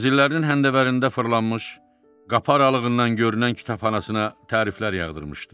Mənzillərinin həndəvərində fırlanmış, qapı aralığından görünən kitabxanasına təriflər yağdırmışdı.